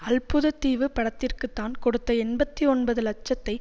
அல்புதத்தீவு படத்திற்கு தான் கொடுத்த எண்பத்தி ஒன்பது லட்சத்தை